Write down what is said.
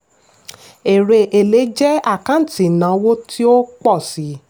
èrè èlé jẹ́ àkáǹtì ìnáwó tí ó pọ̀ sí.